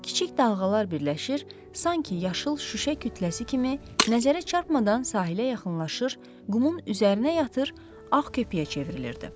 Kiçik dalğalar birləşir, sanki yaşıl şüşə kütləsi kimi nəzərə çarpmadan sahilə yaxınlaşır, qumun üzərinə yatır, ağ köpüyə çevrilirdi.